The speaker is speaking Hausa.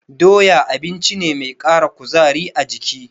Doya abinci ne dake ƙara kuzari a jiki.